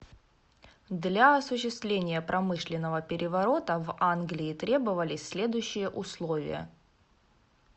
для осуществления промышленного переворота в англии требовались следующие условия